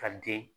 Ka den